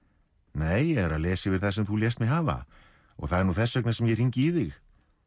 nei ég er að lesa yfir það sem þú lést mig hafa og það er nú þess vegna sem ég hringi í þig